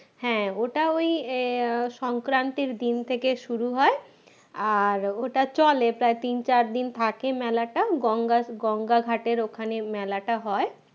হ্যাঁ ওটা ওই আহ সংক্রান্তির দিন থেকে শুরু হয় আর ওটা চলে প্রায় তিন চার দিন থাকে মেলাটা গঙ্গা গঙ্গা ঘাটের ওখানে মেলাটা হয়